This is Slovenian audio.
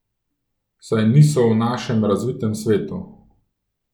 Saj niso v našem razvitem svetu.